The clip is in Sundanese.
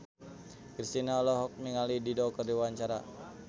Kristina olohok ningali Dido keur diwawancara